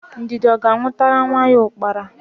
Ndidi ọ ga-anwụtara nwa ya ụkpara?